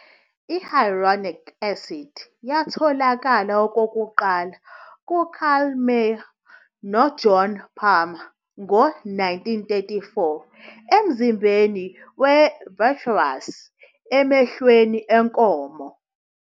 I-Hyaluronic acid yatholakala okokuqala nguKarl Meyer noJohn Palmer ngo-1934 emzimbeni we-vitreous emehlweni enkomo.